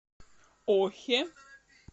охе